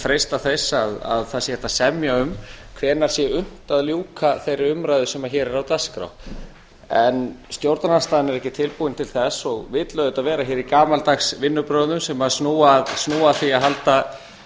freista þess að það sé hægt að semja um hvenær sé unnt að ljúka þeirri umræðu sem hér er á dagskrá stjórnarandstaðan er ekki tilbúin til þess og vill auðvitað vera hér í gamaldags vinnubrögðum sem snúa að því að halda